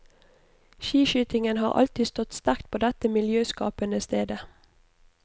Skiskytingen har alltid stått sterkt på dette miljøskapende stedet.